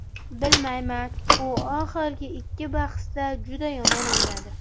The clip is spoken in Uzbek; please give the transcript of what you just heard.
Bilmayman, u oxirgi ikki bahsda juda yomon o‘ynadi.